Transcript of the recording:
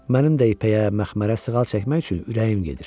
Mənim də ipəyə, məxmərə sığal çəkmək üçün ürəyim gedir.